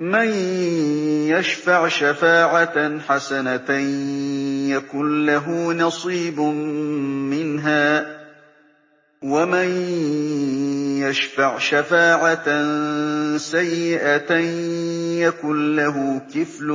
مَّن يَشْفَعْ شَفَاعَةً حَسَنَةً يَكُن لَّهُ نَصِيبٌ مِّنْهَا ۖ وَمَن يَشْفَعْ شَفَاعَةً سَيِّئَةً يَكُن لَّهُ كِفْلٌ